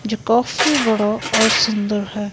जो काफी बड़ा और सुंदर है।